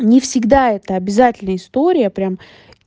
не всегда это обязательная история прям